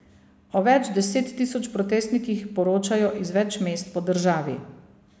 O več deset tisoč protestnikih poročajo iz več mest po državi.